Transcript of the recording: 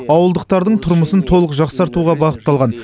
ауылдықтардың тұрмысын толық жақсартуға бағытталған